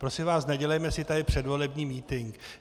Prosím vás, nedělejme si tady předvolební mítink.